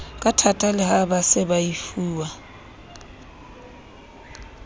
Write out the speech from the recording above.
kathata le ha baseba efuwa